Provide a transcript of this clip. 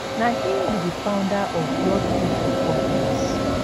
na him be di founder of blord group of companies